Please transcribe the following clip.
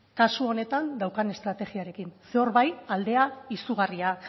kasu honetan daukan estrategiarekin ze hor bai aldea izugarria